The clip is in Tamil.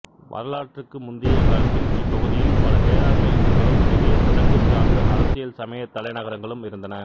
வரலாற்றுக்கு முந்திய காலத்தில் இப்பகுதியில் பல வேளாண்மை ஊர்களும் பெரிய சடங்குசார்ந்த அரசியல்சமயத் தலைநகரங்களும் இருந்தன